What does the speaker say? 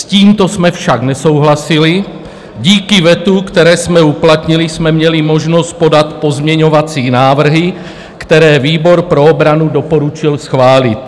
S tímto jsme však nesouhlasili, díky vetu, které jsme uplatnili, jsme měli možnost podat pozměňovací návrhy, které výbor pro obranu doporučil schválit.